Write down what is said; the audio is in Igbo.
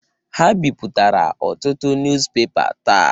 Ha bipụtara ọtụtụ nuz pepa taa.